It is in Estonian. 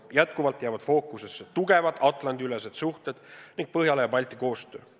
Jätkuvalt jäävad fookusesse tugevad Atlandi-ülesed suhted ning Põhjala ja Balti koostöö.